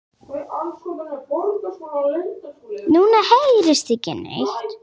Ég er tólf ára.